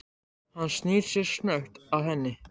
Hann snýr sér snöggt að henni.